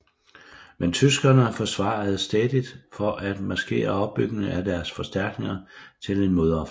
Men tyskerne forsvarede stædigt for at maskere opbygningen af deres forstærkninger til en modoffensiv